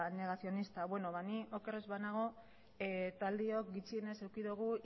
negazionista ba ni oker ez banago taldeok gutxienez eduki dugu